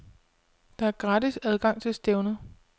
Der er gratis adgang til stævnet.